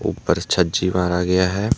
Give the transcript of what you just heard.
और छज्जि मारा गया है।